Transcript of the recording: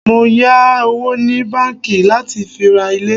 Mọ yà owó ni báńkì láti fi ra ilé.